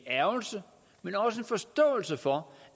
en ærgrelse men også en forståelse for